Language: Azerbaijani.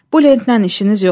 Bu lentdən işiniz yoxdur.